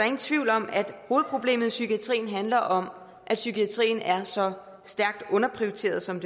ingen tvivl om at hovedproblemet i psykiatrien handler om at psykiatrien er så stærkt underprioriteret som